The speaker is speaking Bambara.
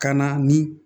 Ka na ni